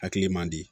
Hakili man di